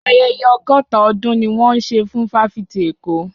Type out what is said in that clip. Ayẹyẹ ọgọ́ta ọdún ni wọ́n ń ṣe fún fáfitì èkó